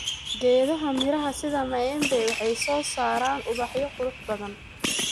Geedaha miraha sida maembe waxay soo saaraan ubaxyo qurux badan.